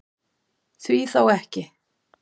Því þá ekki?